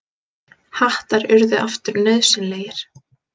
Hattar urðu aftur nauðsynlegir.